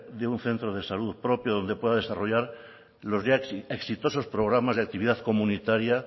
de un centro de salud propio donde pueda desarrollar los ya exitosos programas de actividad comunitaria